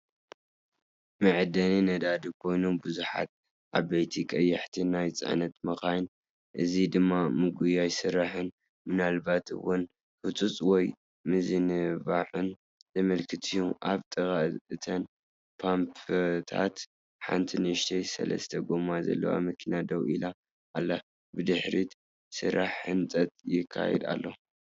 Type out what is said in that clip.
መዐደሊ ነዳዲ ኮይኑ፡ ብዙሓት ዓበይቲ ቀያሕቲ ናይ ጽዕነት መካይን፣ እዚ ድማ ምጉያይ ስራሕን ምናልባት’ውን ህጹጽ ወይ ምዝንባዕን ዘመልክት እዩ። ኣብ ጥቓ እተን ፓምፕታት ሓንቲ ንእሽቶ ሰለስተ ጎማ ዘለዋ መኪና ደው ኢላ ኣላ። ብድሕሪት ስራሕ ህንፀት ይካየድ ኣሎ።